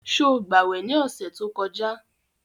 Sọ gbàwè ní ọ̀sẹ̀ tó kọjá?